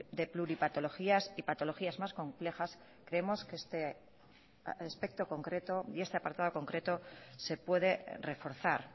de pluripatologías y patologías más complejas creemos que este aspecto concreto y este apartado concreto se puede reforzar